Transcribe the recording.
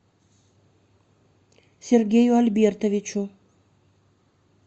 сергею альбертовичу